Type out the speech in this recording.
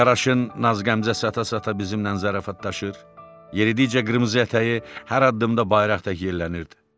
Qaraşın naz qəmzə sata-sata bizimlə zarafatlaşır, yeridikcə qırmızı ətəyi hər addımda bayraq tək yellənirdi.